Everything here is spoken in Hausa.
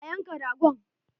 A yanka ragon!